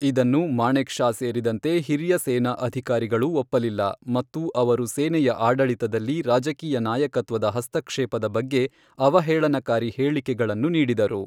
ಇದನ್ನು ಮಾಣೆಕ್ ಷಾ ಸೇರಿದಂತೆ ಹಿರಿಯ ಸೇನಾ ಅಧಿಕಾರಿಗಳು ಒಪ್ಪಲಿಲ್ಲ, ಮತ್ತು ಅವರು ಸೇನೆಯ ಆಡಳಿತದಲ್ಲಿ ರಾಜಕೀಯ ನಾಯಕತ್ವದ ಹಸ್ತಕ್ಷೇಪದ ಬಗ್ಗೆ ಅವಹೇಳನಕಾರಿ ಹೇಳಿಕೆಗಳನ್ನು ನೀಡಿದರು.